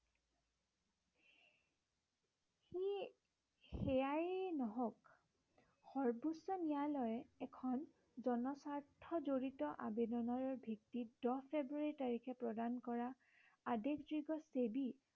সেয়াই নহওক সৰ্ব্বোচ্চ ন্য়ায়ালয়ে এখন জনস্বাৰ্থ জৰিত আবেদনৰ ভিত্তিত দহ ফেব্ৰূৱাৰী তাৰিখে প্ৰদান কৰা আদেশযোগে ছেবী